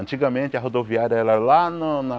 Antigamente a rodoviária era lá no na